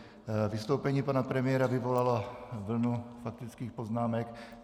Vystoupení pana premiéra vyvolalo vlnu faktických poznámek.